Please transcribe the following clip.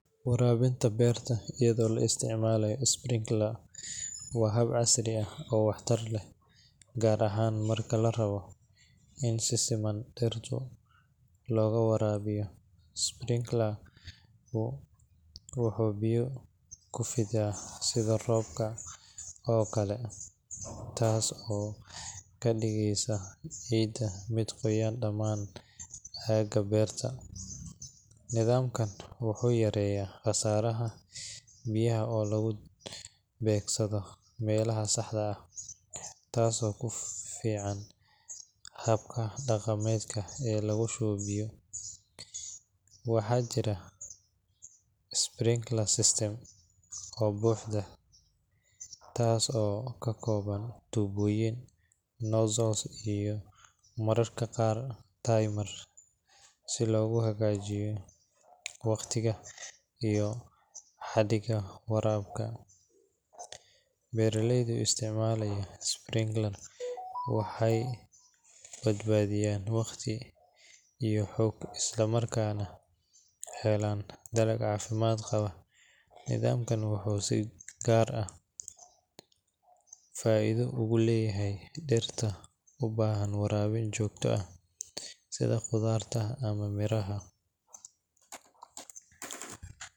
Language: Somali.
Waraabinta beerta iyadoo la isticmaalayo sprinkler waa hab casri ah oo waxtar leh, gaar ahaan marka la rabo in si siman dhirta looga waraabiyo. Sprinkler-ku wuxuu biyo ku fidaa sidii roob oo kale, taas oo ka dhigaysa ciidda mid qoyan dhammaan aagga beerta. Nidaamkan wuxuu yareeyaa khasaaraha biyaha oo lagu beegsado meelaha saxda ah, taasoo ka fiican habka dhaqameed ee lagu shubo biyo. Waxaa jirta sprinkler system oo buuxda, taas oo ka kooban tuubooyin, nozzles, iyo mararka qaar timer si loogu hagaajiyo waqtiga iyo xaddiga waraabka. Beeraleyda isticmaala sprinkler waxay badbaadiyaan waqti iyo xoog, isla markaana helaan dalag caafimaad qaba. Nidaamkan wuxuu si gaar ah faa’iido ugu leeyahay dhirta u baahan waraabis joogto ah sida khudradda ama miraha.